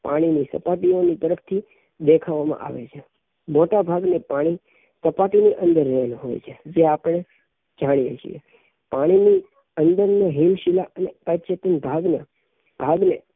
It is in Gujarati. પાણી ની સપાટીઓ ની પરથી દેખાવા માં આવે છે મોટા ભાગ નું પાણી સપાટી ની અંદર રહેલું હોઈ છે જે આપણે જાણીયે છીએ પાણી ની અંદર ની હિમશીલા અને અવચેતન ભાગ ને ભાગ ને